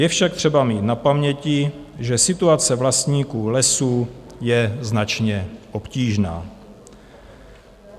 Je však třeba mít na paměti, že situace vlastníků lesů je značně obtížná.